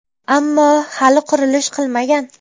Ammo hali qurilish qilmagan.